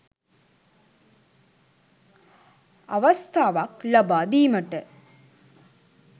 අවස්ථාවක් ලබා දීමට